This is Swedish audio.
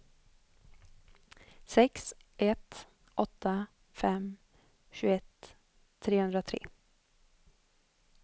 sex ett åtta fem tjugoett trehundratre